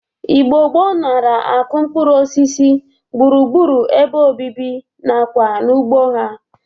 Igbo gboo nara akụ mkpụrụosisi gbụrugbụru ebe obibi na kwa n'ugbo ha.